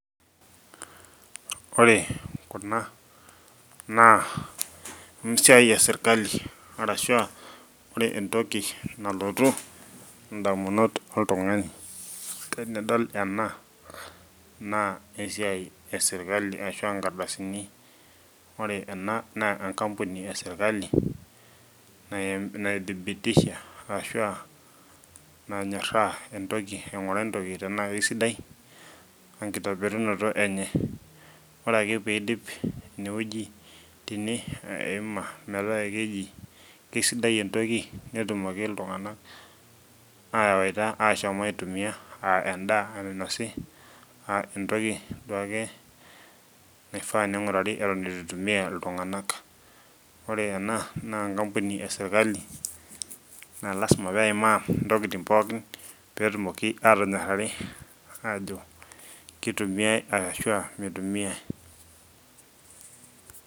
Ore kuna naa esiai esirkali arashua ore entoki nalotu indamunot oltung'ani tenedol ena naa esiai esirkali ashua inkardasini ore ena naa enkampuni esirkali naithibitisha arashua nanyorraa entoki aing'uraa entoki tenaa kisidai enkitobirunoto enye ore ake piidip inewueji tene eima metaa keji keisidai entoki netumoki iltung'anak ayawaita ashom aitumiyia aa endaa enainosi uh entoki duake naifaa ning'urari eton etu itumiyia iltung'anak ore ena naa enkampuni esirkali naa lasima peimaa intokiting pooki petumoki atonyorrari ajo kitumiae arashua mitumiae.